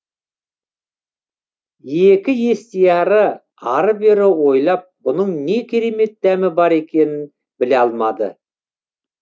екі естияры ары бері ойлап бұның не керемет дәмі бар екенін біле алмады